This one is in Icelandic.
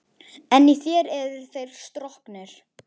En í þér eru þeir stroknir.